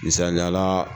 Misaliyala